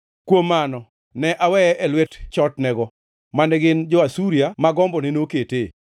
“Kuom mano, ne aweye e lwet chotnego, mane gin jo-Asuria, ma gombone noketee.